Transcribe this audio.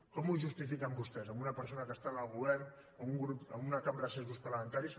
com ho justifiquen vostès amb una persona que està al govern amb una cambra de set grups parlamentaris